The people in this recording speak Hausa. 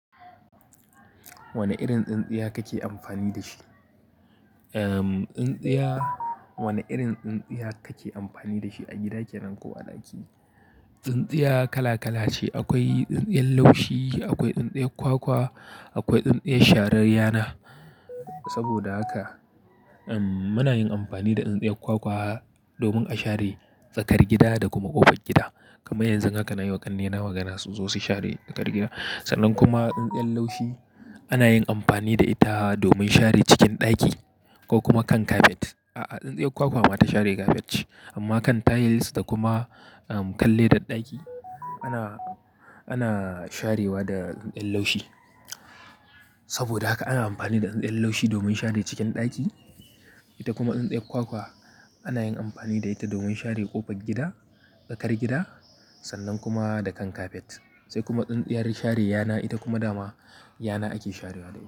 Wani irin tsintsiya kake amfani da shi? Ehm, tsintsiya, wani irin tsintsiya kake amfani da shi a gida kenan ko a ɗaki? Tsintsiya kala kala ce. Akwai tsintsiyar laushi, akwai tsintsiyar kwakwa, akwai tsintsiyar sharar yana. Saboda haka, ehm, muna yin amfani da tsintsiyar kwakwa domin a share tsakar gida da kuma ƙofar gida. Kamar yanzu haka na yi wa ƙannena magana su zo su share tsakar gida. Sannan kuma tsintsiyar laushi ana yin amfani da ita domin share cikin ɗaki ko kuma kan kafet. A'a, tsintsiyar kwakwa ma ta share kafet ce amma kan tiles da kuma, ehm, kalledar ɗaki ana, ana sharewa da tsintsiyar laushi. Saboda haka ana amfani da tsintsiyar laushi domin share cikin ɗaki. Ita kuma tsintsiyar kwakwa ana yin amfani da ita domin share ƙofar gida, tsakar gida sannan kuma da kan kafet. Sai kuma tsintsiyar sharar yana ita kuma dama yana ake sharewa da ita.